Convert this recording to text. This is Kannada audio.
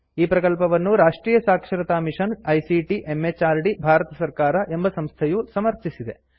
ಈ ಪ್ರಕಲ್ಪವನ್ನು ರಾಷ್ಟ್ರಿಯ ಸಾಕ್ಷರತಾ ಮಿಷನ್ ಐಸಿಟಿ ಎಂಎಚಆರ್ಡಿ ಭಾರತ ಸರ್ಕಾರ ಎಂಬ ಸಂಸ್ಥೆಯು ಸಮರ್ಥಿಸಿದೆ